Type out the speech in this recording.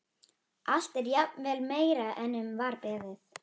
Allt er jafnvel meira en um var beðið.